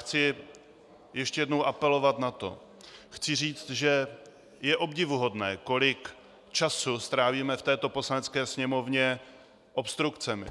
Chci ještě jednou apelovat na to, chci říct, že je obdivuhodné, kolik času strávíme v této Poslanecké sněmovně obstrukcemi,